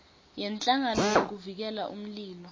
yenhlangano yekuvikela umlilo